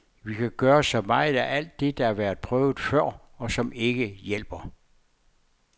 Vi kan gøre så meget af alt det, der har været prøvet før, og som ikke hjælper.